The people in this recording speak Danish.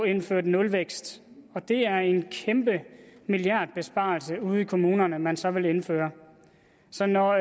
indført nulvækst og det er en kæmpe milliardbesparelse ude i kommunerne man så vil indføre så når